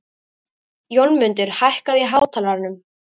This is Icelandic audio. Jónmundur, hækkaðu í hátalaranum.